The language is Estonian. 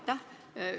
Aitäh!